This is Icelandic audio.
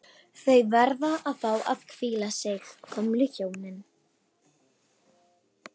Þau verða að fá að hvíla sig, gömlu hjónin